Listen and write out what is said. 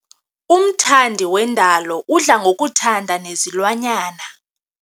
Umthandi wendalo udla ngokuthanda nezilwanyana.